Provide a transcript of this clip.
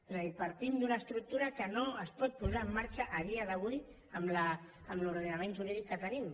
és a dir partim d’una estructura que no es pot posar en marxa a dia d’avui amb l’ordenament jurídic que tenim